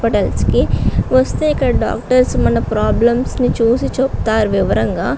Hospital కి వస్తే ఇక్కడ డాక్టర్స్ మన ప్రాబ్లమ్స్ ను చూసి చెప్తారు వివరంగా.